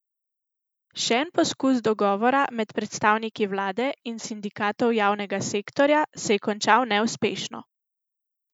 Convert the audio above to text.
Še en poskus dogovora med predstavniki vlade in sindikatov javnega sektorja se je končal neuspešno.